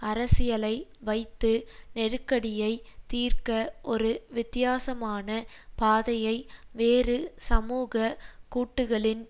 அரசியலை வைத்து நெருக்கடியை தீர்க்க ஒரு வித்தியாசமான பாதையை வேறு சமூக கூட்டுகளின்